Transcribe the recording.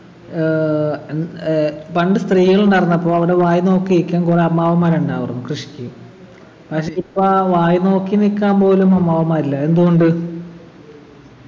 ഏർ ഉം ഏർ പണ്ട് സ്ത്രീകളുണ്ടായിരുന്നപ്പോ അവിടെ വായിനോക്കിയിരിക്കാൻ കൊറേ അമ്മാവന്മാർ ഉണ്ടാവാർന്നു കൃഷിക്ക് പക്ഷെ ഇപ്പാ വായിനോക്കി നിക്കാൻ പോലും അമ്മാവന്മാരില്ല എന്തുകൊണ്ട്